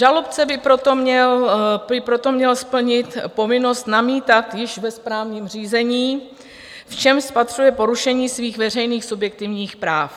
Žalobce by proto měl splnit povinnost namítat již ve správním řízení, v čem spatřuje porušení svých veřejných subjektivních práv.